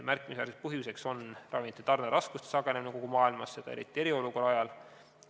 Märkimisväärne põhjus on ravimite tarneraskuste sagenemine kogu maailmas, seda eriti eriolukorra ajal.